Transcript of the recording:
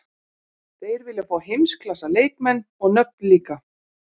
Þeir vilja fá heimsklassa leikmenn og nöfn líka.